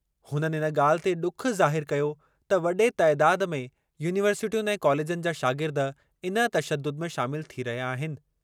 हुननि इन ॻाल्हि ते ॾुख ज़ाहिरु कयो त वॾे तइदाद में यूनिवर्सिटियुनि ऐं कॉलेजनि जा शागिर्द इन तशदुद में शामिल थी रहिया आहिनि।